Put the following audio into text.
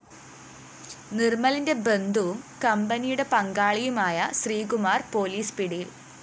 നിര്‍മലിന്റെ ബന്ധുവും കമ്പനിയുടെ പങ്കാളിയുമായ ശ്രീകുമാര്‍ പോലീസ് പിടിയില്‍